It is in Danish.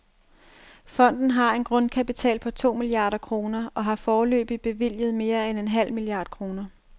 Fonden har en grundkapital på to milliarder kroner og har foreløbig bevilget mere end en halv milliard kroner.